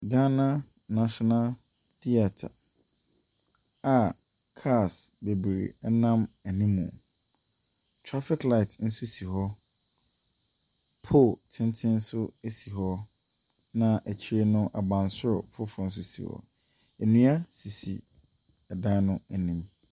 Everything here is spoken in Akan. Ghana National Theatre a cars bebree nam anim. Traffic light nso si hɔ. Pole tenten nso si hɔ, na akyire no, abansoro foforɔ nso si hɔ. Nnua sisi dan no anim.